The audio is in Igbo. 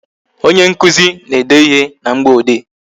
Onye nkụzi na-ede ịhe na mgboode